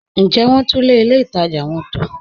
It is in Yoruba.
Ǹ jẹ wọn túnlẹ̀ ilẹ̀ ìtaja wọn tó?